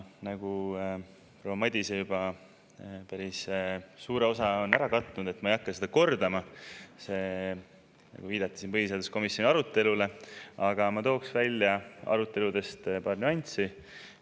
Proua Madise on juba päris suurt osa katnud, ma ei hakka seda kordama – viidati siin ka põhiseaduskomisjoni arutelule –, aga ma toon aruteludest välja paar nüanssi.